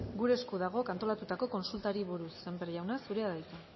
gure esku dagok antolatutako kontsultari buruz sémper jauna zurea da hitza